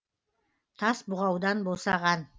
тас бұғаудан босаған